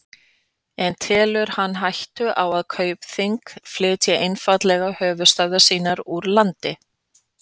En telur hann hættu á að Kaupþing flytji einfaldlega höfuðstöðvar sínar úr landi?